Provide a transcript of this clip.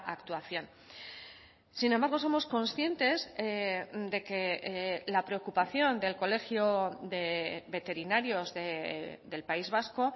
actuación sin embargo somos conscientes de que la preocupación del colegio de veterinarios del país vasco